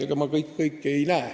Ega ma kõike ei näe.